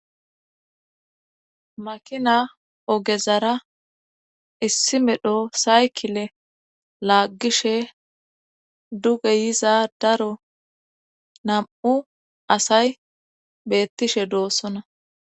Makina ogezara issi medho saykile laaggishe duge yiza daro nam7u asay beettishe doossona.